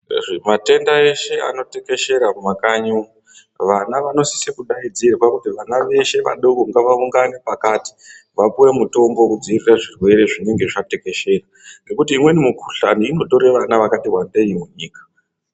Matenda eshe anotekeshera kumakanyi, vana vanosise kudaidzirwa kuti vana veshe vadoko ngavaungane pakati, vapuwe mutombo wekudzivirira zvirwere zvinenge zvatekeshera, ngekuti imweni mikuhlani inotore vakatiwandei munyika.